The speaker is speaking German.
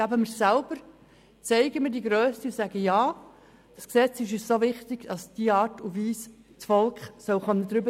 Geben wir es selber ein, zeigen wir Grösse, indem wir sagen: Ja, das Gesetz ist uns so wichtig, dass das Volk über die Art und Weise soll bestimmen können.